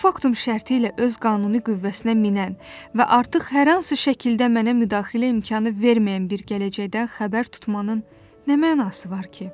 Postfaktum şərti ilə öz qanuni qüvvəsinə minən və artıq hər hansı şəkildə mənə müdaxilə imkanı verməyən bir gələcəkdən xəbər tutmanın nə mənası var ki?